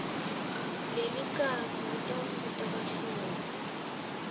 lelikhasi litawusita bahlolwa